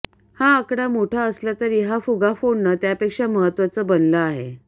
हा आकडा मोठा असला तरी हा फुगा फोडणं त्यापेक्षा महत्त्वाचं बनलं आहे